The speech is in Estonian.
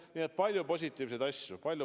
Nii et palju positiivseid asju.